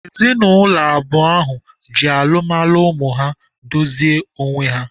Ezinaụlọ abụọ ahụ ji alụmalụ ụmụ ha dozie onwe ha.